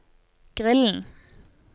grillen